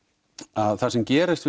að það sem gerist